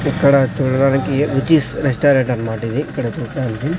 ఇక్కడ చూడడానికి రుచిస్ రెస్టారెంట్ అన్మాట ఇది ఇక్కడ చూడ్డానికి.